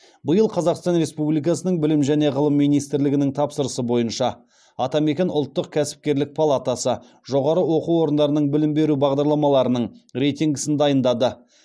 биыл қазақстан республикасының білім және ғылым министрлігінің тапсырысы бойынша атамекен ұлттық кәсіпкерлік палатасы жоғары оқу орындарының білім беру бағдарламаларының рейтингісін дайындады